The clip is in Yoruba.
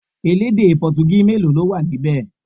Elédè Potogí mélòó ló wà níbẹ̀?